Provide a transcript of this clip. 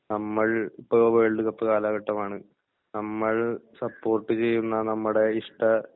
നമ്മൾ ഇപ്പോ world cup കാലഘട്ടമാണ് നമ്മൾ സപ്പോർട്ട് ചെയ്യുന്ന നമ്മുടെ ഇഷ്ട